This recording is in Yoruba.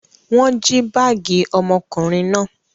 Wọ́n jí báágì ọmọkùnrin náà.